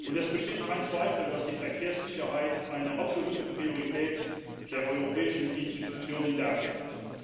Es besteht kein Zweifel, dass die Verkehrssicherheit eine absolute Priorität der europäischen Institutionen darstellt.